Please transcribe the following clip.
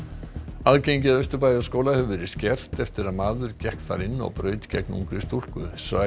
aðgengi að Austurbæjarskóla hefur verið skert eftir að maður gekk þar inn og braut gegn ungri stúlku